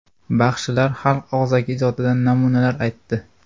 Baxshilar xalq og‘zaki ijodidan namunalar aytdi.